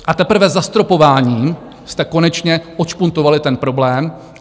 A teprve zastropováním jste konečně odšpuntovali ten problém.